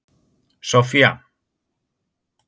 Soffía